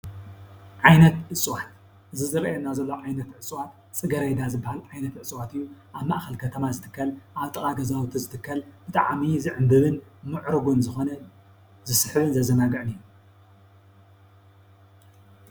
ዓይነት እፅዋት እዚ ዝርአየና ዘሎ ዓይነት እፅዋት ፅጌረዳ ዝበሃል ዓይነት እፅዋት እዩ፡፡ አብ ማእከል ከተማ ዝትከል፣ አብ ጥቃ ገዛውቲ ዝትከል ብጣዕሚ ዝዕንብብን ሙዕሩግን ዝኮነ ዝስሕብን ዘዘናግዕን እዩ፡፡